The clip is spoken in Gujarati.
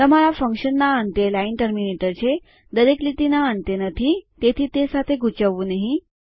તમારા ફંક્શનના અંતે લાઈન ટર્મીનેટર છે દરેક લીટીના અંતે નથી તેથી તે સાથે ગુચવાવું નહિ